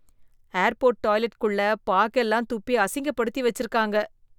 airport toilet குள்ள பாக்கு எல்லாம் துப்பி அசிங்கப்படுத்தி வச்சிருக்காங்க